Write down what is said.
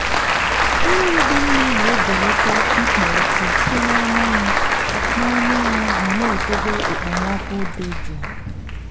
mmiri dị mma na-ebelata ikpo ọkụ site na anyanwụ na anyanwụ ma na-edobe okpomọkụ dị jụụ.